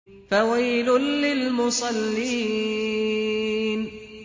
فَوَيْلٌ لِّلْمُصَلِّينَ